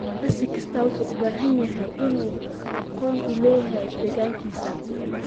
Siyaasi kastaa wuxuu u baahan yahay inuu aqoon u leeyahay deegaankiisa.